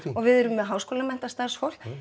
og við erum með háskólamenntað starfsfólk